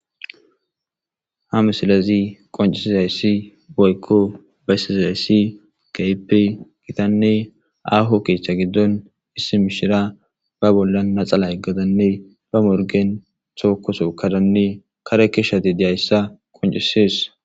Ha missilezi qonc'isizaysi woyko besizaysi kehipe gitane aho ketha gidon issi mishira ba bolan naxala yegada ba morgen toko tokadanne kare keshade diyaysa qonc'ses.